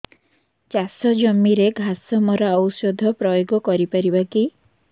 ଚାଷ ଜମିରେ ଘାସ ମରା ଔଷଧ ପ୍ରୟୋଗ କରି ପାରିବା କି